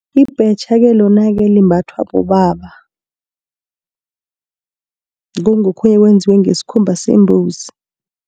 Ibhetjha-ke, lona-ke limbathwa bobaba kungokhunye okwenziwe ngesikhumba sembuzi.